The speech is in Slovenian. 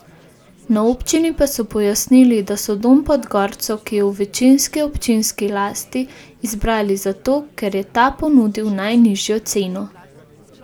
Na občini pa so pojasnili, da so Dom pod gorco, ki je v večinski občinski lasti, izbrali zato, ker je ta ponudil najnižjo ceno.